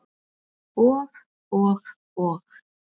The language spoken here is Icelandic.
Og og og.